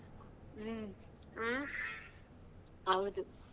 ಹುಂ ಹೌದು.